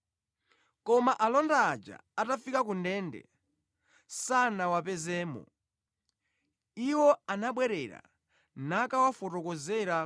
Koma alonda aja atafika kundende, sanawapezemo. Iwo anabwerera nakawafotokozera